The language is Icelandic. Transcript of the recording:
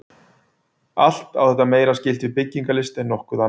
Allt á þetta meira skylt við byggingalist en nokkuð annað.